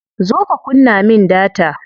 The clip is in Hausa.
Zo ka kunna min data.